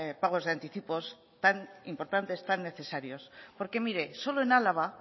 pagos de anticipos tan importantes tan necesarios porque mire solo en álava